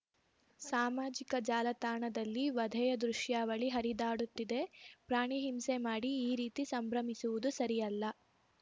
ಸಾಮಾಜಿಕ ಜಾಲತಾಣದಲ್ಲಿ ವಧೆಯ ದೃಶ್ಯಾವಳಿ ಹರಿದಾಡುತ್ತಿದೆ ಪ್ರಾಣಿ ಹಿಂಸೆ ಮಾಡಿ ಈ ರೀತಿ ಸಂಭ್ರಮಿಸುವುದು ಸರಿಯಲ್ಲ